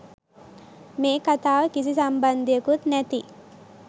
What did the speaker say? මේ කතාව කිසි සම්බන්ධයකුත් නැති